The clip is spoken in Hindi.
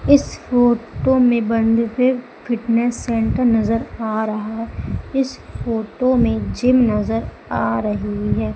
इस फोटो में बंद देव फिटनेस सेंटर नजर आ रहा है इस फोटो में जिम नजर आ रही है।